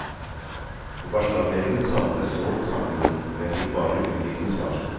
På barselavdelingen savnet jeg sårt å snakke med noen, men jeg fikk bare unnvikende svar.